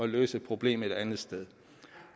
løse et problem et andet sted